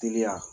Teliya